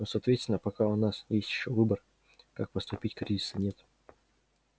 но соответственно пока у нас ещё есть выбор как поступить кризиса нет